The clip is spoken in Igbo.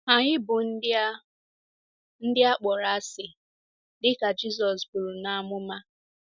Anyị bụ ndị a ndị a kpọrọ asị, dị ka Jizọs buru n’amụma.